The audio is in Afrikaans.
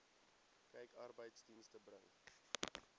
kyk arbeidsdienste bring